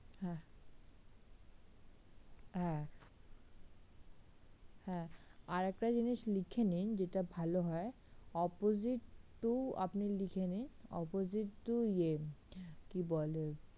হ্যাঁ হ্যাঁ হ্যাঁ আরেকটা জিনিস লিখে নিন যেটা ভালো হয় opposite to আপনি লিখে নিন opposite to ইয়ে কি বলে